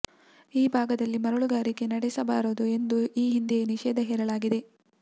ಈ ಭಾಗದಲ್ಲಿ ಮರಳುಗಾರಿಕೆ ನಡೆಸಬಾರದು ಎಂದು ಈ ಹಿಂದೆಯೇ ನಿಷೇಧ ಹೇರಲಾಗಿದೆ